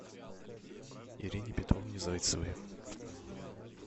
ирине петровне зайцевой